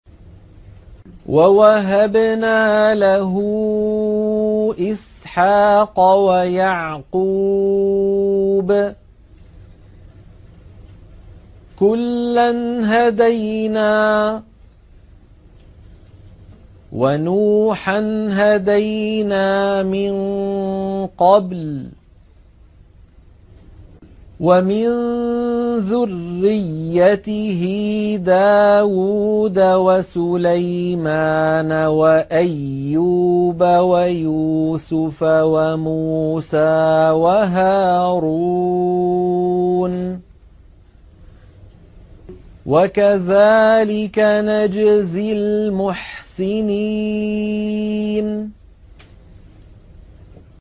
وَوَهَبْنَا لَهُ إِسْحَاقَ وَيَعْقُوبَ ۚ كُلًّا هَدَيْنَا ۚ وَنُوحًا هَدَيْنَا مِن قَبْلُ ۖ وَمِن ذُرِّيَّتِهِ دَاوُودَ وَسُلَيْمَانَ وَأَيُّوبَ وَيُوسُفَ وَمُوسَىٰ وَهَارُونَ ۚ وَكَذَٰلِكَ نَجْزِي الْمُحْسِنِينَ